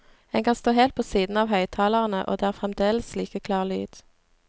En kan stå helt på siden av høyttalerne og det er fremdeles like klar lyd.